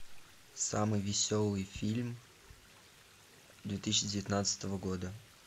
самый веселый фильм две тысячи девятнадцатого года